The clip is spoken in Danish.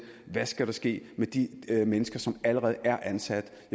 hvad der skal ske med de mennesker som allerede er ansat